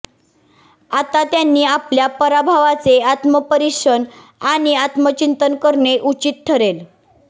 आता त्यांनी आपल्या पराभवाचे आत्मपरिक्षण आणि आत्मचिंतन करणे उचित ठरेल